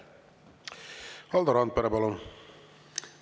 Valdo Randpere, palun!